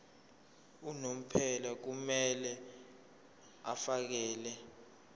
unomphela kumele afakele